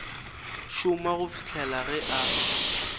šoma go fihla ge a